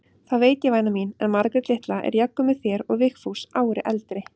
Það veit ég væna mín, en Margrét litla er jafngömul þér og Vigfús ári eldri.